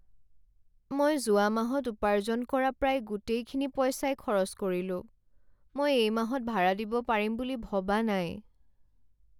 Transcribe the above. মই যোৱা মাহত উপাৰ্জন কৰা প্ৰায় গোটেইখিনি পইচাই খৰচ কৰিলোঁ। মই এই মাহত ভাড়া দিব পাৰিম বুলি ভবা নাই।